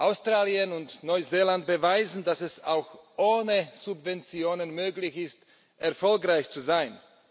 Australien und Neuseeland beweisen, dass es auch ohne Subventionen möglich ist, erfolgreich zu sein.